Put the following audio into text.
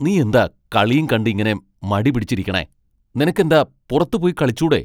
നീയെന്താ കളിയും കണ്ട് ഇങ്ങനെ മടി പിടിച്ചിരിക്കണെ ? നിനക്ക് എന്താ പുറത്ത് പോയി കളിച്ചൂടെ ?